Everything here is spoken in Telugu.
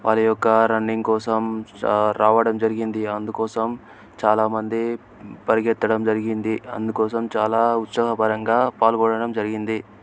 వచ్చి స్టియ వారి యొక్క రన్నింగ్ కోసం సా రావడం జరిగింది అందుకోసం చాలామంది పరిగెత్తడం జరిగింది అందుకోసం చాలా ఉత్సాహపరంగా --